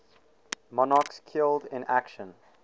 monarchs killed in action